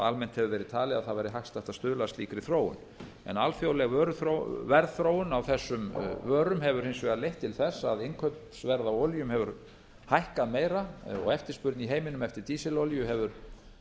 almennt hefur verið talið að það væri hagstætt að stuðla að slíkri þróun en alþjóðleg verðþróun á þessum vörum hefur hins vegar leitt til þess að innkaupsverð á olíum hefur hækkað meira og eftirspurn í heiminum eftir dísilolíu hefur